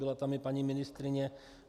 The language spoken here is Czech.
Byla tam i paní ministryně.